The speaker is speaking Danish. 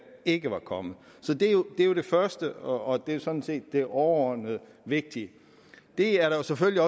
ikke var kommet så det er det første og det er jo sådan set det overordnet vigtige det er der selvfølgelig